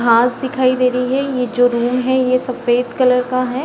घास दिखाई देख रही है ये जो रूम है ये सफ़ेद कलर का है।